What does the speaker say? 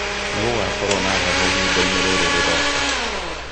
nĩ gũgakorũo na heho ihinda-inĩ rĩrĩ rĩroka